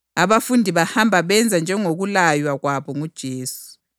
Abafundi bahamba benza njengokulaywa kwabo nguJesu.